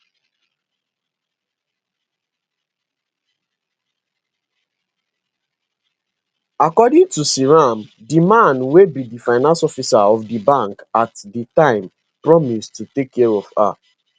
according to seyram di man wey be di finance officer of di bank at di time promise to take care of her